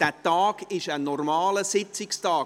Der Tag ist ein normaler Sitzungstag.